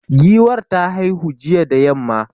Giwar ta haihu jiya da yamma.